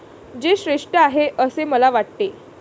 जे श्रेष्ठ आहे, असे मला वाटते.